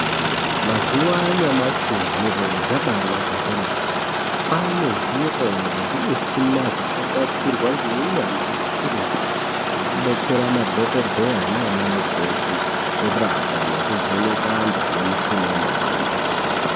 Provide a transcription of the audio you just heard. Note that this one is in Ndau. Mazuwa anyamashi zviro zvabaanaka kwemene. Kwaane zviro nezvimuchina zvakagadzirwa ngeunyanzvi hukurutu, zvokubatsera madhokoteya naana mukoti kurapa nekuvheneka antu anemishuna inopanda.